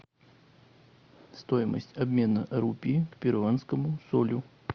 стоимость обмена рупии к перуанскому солю